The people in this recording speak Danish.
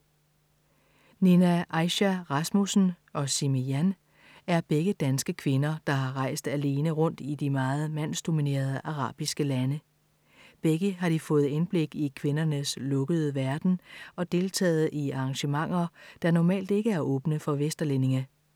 Nina Aisha Rasmussen og Simi Jan er begge danske kvinder, der har rejst alene rundt i de meget mandsdominerede arabiske lande. Begge har de fået indblik i kvindernes lukkede verden og deltaget i arrangementer, der normalt ikke er åbne for vesterlændinge.